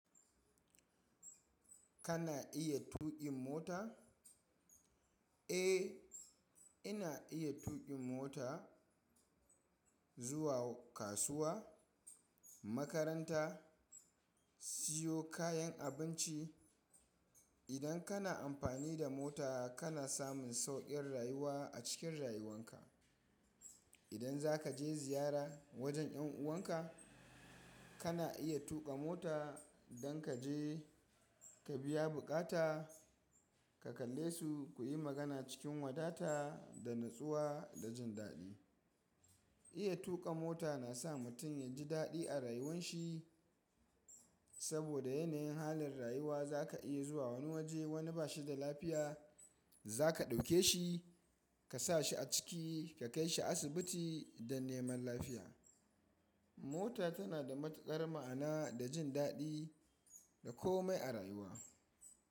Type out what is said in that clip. Kana iya tuƙin mota? Eh, ina iya tuƙin mota zuwa kasuwa, makaranta, siyo kayan abinci. Idan kana amfani da mota kana samun sauƙin rayuwa a cikin rayuwan ka. Idan za ka je ziyara wajen ƴan'uwan ka, kana iya tuƙa mota don ka je ka biya buƙata, ka kalle su, ku yi magana cikin wadata da natsuwa da jin daɗi. Iya tuƙa mota na sa mutum ya ji daɗi a rayuwan shi, saboda yanayin halin rayuwa za ka iya zuwa wani waje wani ba shi da lafiya, za ka ɗauke shi ka sa shi a ciki ka kai shi asibiti don neman lafiya. Mota tana da matuƙar ma'ana da jin daɗi da komai a rayuwa.